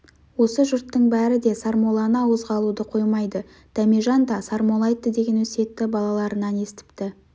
осы жұрттың бәрі де сармолланы ауызға алуды қоймайды дәмежан да сармолла айтты деген өсиетті балаларынан естіпті